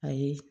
Ayi